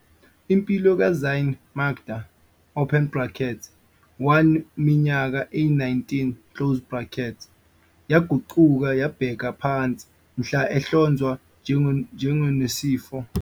Impilo ka-Zyaan Makda open brackets one minyaka eyi-19, yaguquka yabheka phansi mhla ehlonzwa njengonesifo segazi esibizwa nge-heterozygote haemoglobinopathy, okuyisifo esibeka engcupheni impilo futhi okuyisifo segazi esingalapheki, ngonyaka wezi-2007.